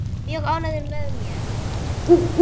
Mjög ánægður með mig.